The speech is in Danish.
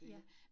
Ja